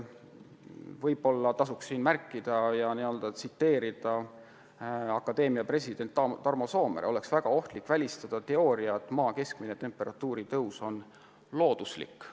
Võib-olla tasuks siinkohal tsiteerida ka teaduste akadeemia presidenti Tarmo Soomeret: "Oleks väga ohtlik välistada teooria, et Maa keskmise temperatuuri tõus on looduslik.